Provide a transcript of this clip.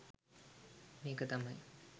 මේක තමයි